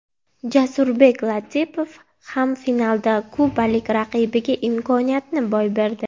Jasurbek Latipov ham finalda kubalik raqibiga imkoniyatni boy berdi.